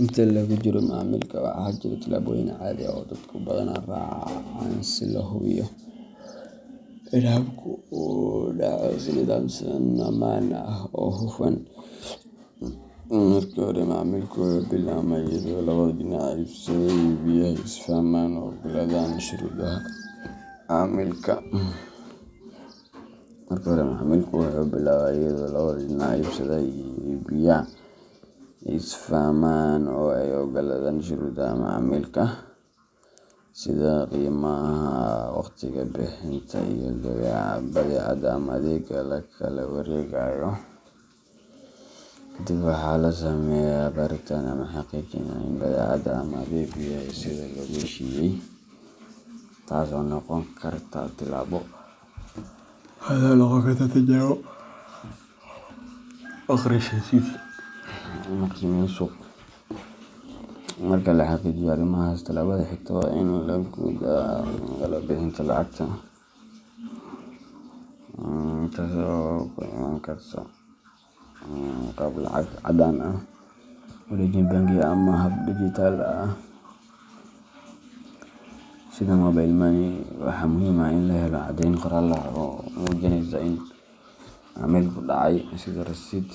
Inta lagu jiro macaamilka, waxaa jira tallaabooyin caadi ah oo dadku badanaa raacaan si loo hubiyo in habka uu u dhaco si nidaamsan, ammaan ah, oo hufan. Marka hore, macaamilku wuxuu billaabmaa iyadoo labada dhinac iibsadaha iyo iibiyaha ay is fahmaan oo ay oggolaadaan shuruudaha macaamilka, sida qiimaha, waqtiga bixinta, iyo badeecada ama adeegga la kala wareegayo. Kadib, waxaa la sameeyaa baaritaan ama xaqiijin ah in badeecada ama adeeggu yahay sida lagu heshiiyay, taas oo noqon karta tijaabo, akhris heshiis ama qiimeyn suuq. Marka la xaqiijiyo arrimahaas, tallaabada xigta waa in la guda galaa bixinta lacagta, taas oo ku imaan karta qaab lacag caddaan ah, wareejin bangi, ama hab digitalka ah sida mobile money. Waxaa muhiim ah in la helo caddeyn qoraal ah oo muujinaysa in macaamilku dhacay, sida rasiidh,